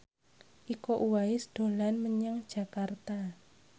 Iko Uwais dolan menyang Jakarta